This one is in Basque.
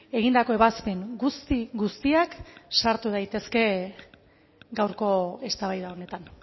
egindako ebazpen guzti guztiak sartu daitezke gaurko eztabaida honetan